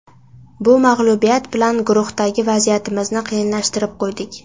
Bu mag‘lubiyat bilan guruhdagi vaziyatimizni qiyinlashtirib qo‘ydik.